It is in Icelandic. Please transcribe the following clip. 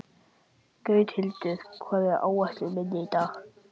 Gauthildur, hvað er á áætluninni minni í dag?